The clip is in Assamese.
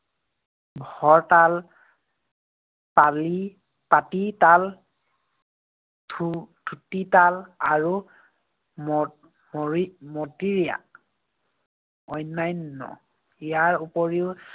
ভৰতাল, পাটিতাল, খু~ খুটি তাল আৰু ম~ মৰি~ মটীয়া অন্যান্য। ইয়াৰ উপৰিও